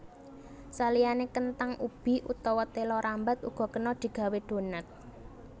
Saliyané kenthang ubi utawa téla rambat uga kena digawé donat